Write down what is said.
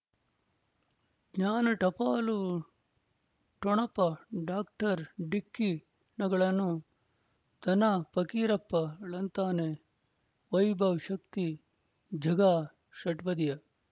ಜ್ಞಾನ ಟಪಾಲು ಠೊಣಪ ಡಾಕ್ಟರ್ ಢಿಕ್ಕಿ ಣಗಳನು ಧನ ಫಕೀರಪ್ಪ ಳಂತಾನೆ ವೈಭವ್ ಶಕ್ತಿ ಝಗಾ ಷಟ್ಪದಿಯ